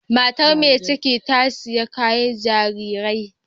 Matar mai ciki ta sayi kayar jarirai.